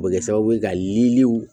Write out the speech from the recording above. O bɛ kɛ sababu ye ka yiriw